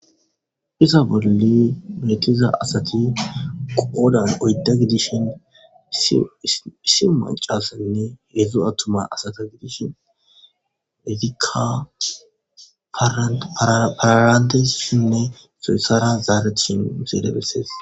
Iza bolle meetiza asati qoodan oydda gidishin issi macasanne hedzdzu attuma asata gidishin midikka paarantesshinne soyssara zaare tishin iseede bessees